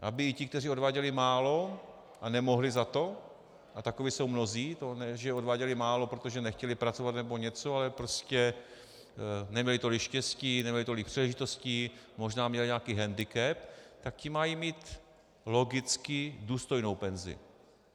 Aby i ti, kteří odváděli málo a nemohli za to, a takoví jsou mnozí, ne, že by odváděli málo, protože nechtěli pracovat nebo něco, ale prostě neměli tolik štěstí, neměli tolik příležitostí, možná měli nějaký hendikep, tak ti mají mít logicky důstojnou penzi.